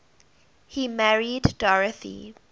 he married dorothy